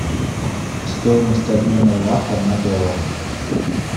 стоимость обмена лата на доллары